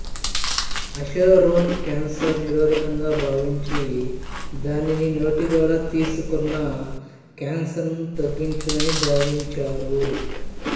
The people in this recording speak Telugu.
అశోరోన్ క్యాన్సరు నిరోధకంగా భావించి దానిని నోటి ద్వారా తీసుకున్న కాన్సర్ను తగ్గించునని భావించారు